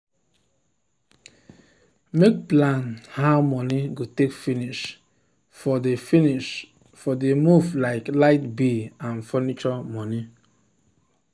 make plan how money go take finish for the finish for the move like light bill and furniture money.